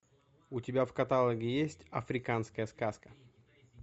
у тебя в каталоге есть африканская сказка